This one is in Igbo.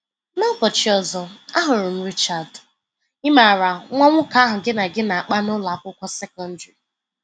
N'ụbọchị ọzọ ahụrụ m Richard – ị maara, nwa nwoke ahụ gị na gị na-akpa na ụlọ akwụkwọ sekọndrị.”